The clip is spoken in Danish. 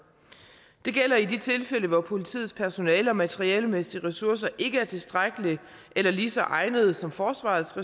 det gælder i de tilfælde hvor politiets personale og materialemæssige ressourcer ikke er tilstrækkelige eller lige så egnede som forsvarets